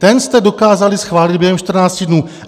Ten jste dokázali schválit během 14 dnů.